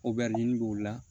O bɛ nin b'o la